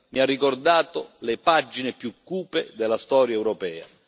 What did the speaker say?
mi ha ricordato le pagine più cupe della storia europea.